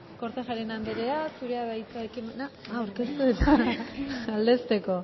kortajarena andrea zurea da hitza ekimena aurkeztu eta aldezteko